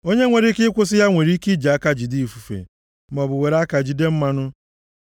Onye nwere ike ịkwụsị ya nwere ike iji aka jide ifufe, maọbụ were aka jide mmanụ.